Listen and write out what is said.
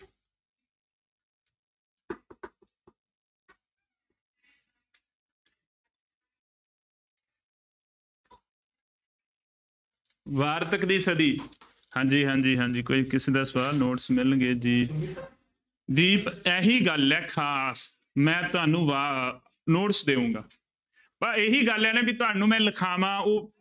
ਵਾਰਤਕ ਦੀ ਸਦੀ ਹਾਂਜੀ ਹਾਂਜੀ ਹਾਂਜੀ ਕੋਈ ਕਿਸੇ ਦਾ ਸਵਾਲ notes ਮਿਲ ਗਏ ਜੀ ਦੀਪ ਇਹੀ ਗੱਲ ਹੈ ਖ਼ਾਸ ਮੈਂ ਤੁਹਾਨੂੰ ਵਾ notes ਦੇਊਂਗਾ, ਪਰ ਇਹੀ ਗੱਲ ਹੈ ਨਾ ਵੀ ਤੁਹਾਨੂੰ ਮੈਂ ਲਿਖਾਵਾਂ ਉਹ